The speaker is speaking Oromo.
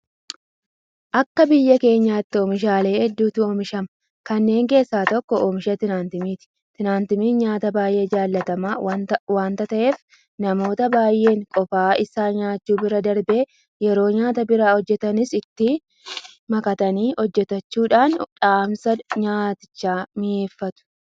Akka biyya keenyaatti oomishaalee hedduutu oomishama. Kanneen keessaa tokko oomisha Timaatimaati. Timaatimiin nyaata baay'ee jaalatamaa waanta ta'eef namoota baay'een qofaa isaa nyaachuu bira darbee yeroo nyaata biraa hojjetanis itti makatanii hojjetachuudhaan dhamsa nyaatichaa mi'eeffatu.